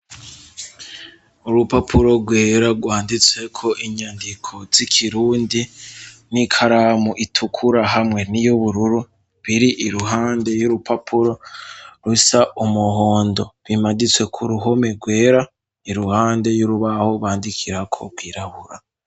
urupapuro rwera gwanditse ko inyandiko z'ikirundi n'ikaramu itukura hamwe niyubururu biri iruhande y'urupapuro rusa umuhondo bimaditsweko ku ruhome rwera iruhande y'urubaho bandikira ko gwirabura